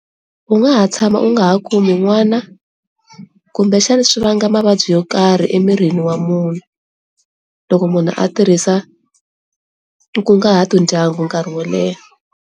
U nga ha tshama u nga ha kumi n'wana kumbe xana swi vanga mavabyi yo karhi emirini wa munhu loko munhu a tirhisa kungahato ndyangu nkarhi wo leha.